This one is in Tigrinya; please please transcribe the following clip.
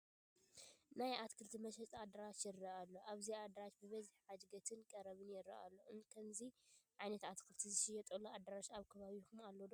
ናይ ኣትክልቲ መሸጢ ኣዳራሽ ይርአ ኣሎ፡፡ ኣብዚ ኣዳራሽ በዝሒ ዓደግትን ቀረብን ይርአ ኣሎ፡፡ ከምዚ ዓይነት ኣትክልቲ ዝሽየጥሉ ኣዳራሽ ኣብ ከባቢኹም ኣሎ ዶ?